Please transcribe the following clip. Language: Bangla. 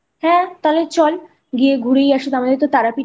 হ্যাঁ তাহলে চল গিয়ে ঘুরেই আসি আমাদের তারাপীঠে